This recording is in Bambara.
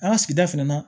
An ka sigida fɛnɛ na